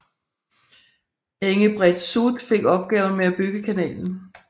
Engebret Soot fik opgaven med at bygge kanalen